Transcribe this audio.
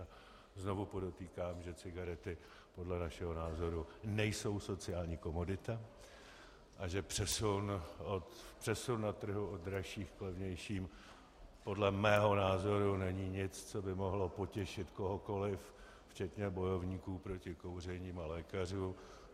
A znovu podotýkám, že cigarety podle našeho názoru nejsou sociální komodita a že přesun na trhu od dražších k levnějším podle mého názoru není nic, co by mohlo potěšit kohokoliv včetně bojovníků proti kouření a lékařů.